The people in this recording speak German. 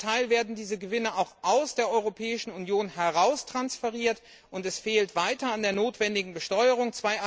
Zum Teil werden diese Gewinne auch aus der Europäischen Union heraustransferiert, und es fehlt weiterhin an der notwendigen Besteuerung.